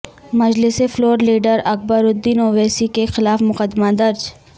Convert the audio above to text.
مجلسی floor leader Akbaruddin Owaisi کے خلاف مقدمہ درج